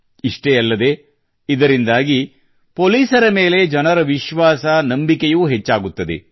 ಇಷ್ಟೇ ಅಲ್ಲದೇ ಇದರಿಂದಾಗಿ ಪೊಲೀಸರ ಮೇಲೆ ಜನರ ವಿಶ್ವಾಸ ನಂಬಿಕೆಯೂ ಹೆಚ್ಚಾಗುತ್ತದೆ